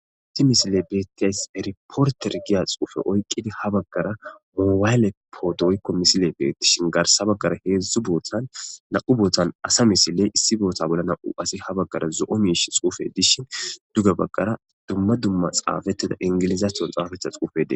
isti misile beettiyays eriporter giya xuufe oyqidi ha baggara moowayle poodooykko misile bee dishin garsa baggara heedzdzu bootan na7u bootan asa misiley issi boota bollana7u asi ha baggara zo7o miish xuufe dishin dugge baggara dumma dumma xaafetida ingilizato xaafetha xuufede